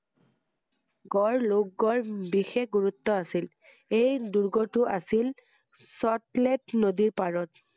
গড় লোহ গড়ৰ বিশেষ গুৰুত্ব আছিল ৷এই দূৰ্গটো আছিল চট লেট নদীৰ পাৰত